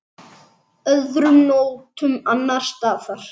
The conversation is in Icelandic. Öðrum nóttum annars staðar?